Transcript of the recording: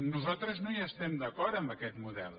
nosaltres no hi estem d’acord amb aquest model